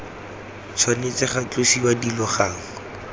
tshwanetse ga tlosiwa dilo gangwe